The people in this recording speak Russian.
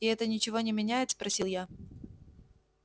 и это ничего не меняет спросил я